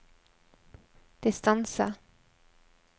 distance